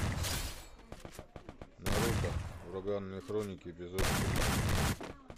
наруто ураганные хроники эпизод три